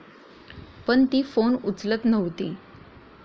पण ती फोन उचलत नव्हती.